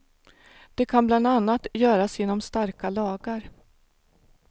Det kan bland annat göras genom starka lagar.